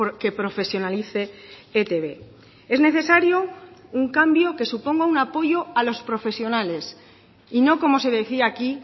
que profesionalice etb es necesario un cambio que suponga un apoyo a los profesionales y no como se decía aquí